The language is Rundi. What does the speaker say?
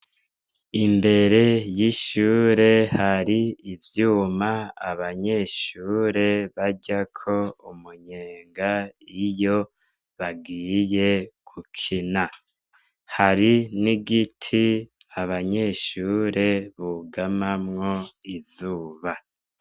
Imbere y'ishure har'ivyuma abanyeshure baryako umunyenga iyo bagiye gukina. Har n'igiti abanyeshure bugamamwo izuba.